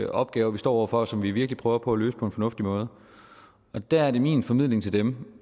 opgaver vi står over for og som vi virkelig prøver på at løse på en fornuftig måde og der er det min formidling til dem